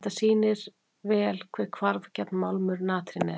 Þetta sýnir vel hve hvarfgjarn málmur natrín er.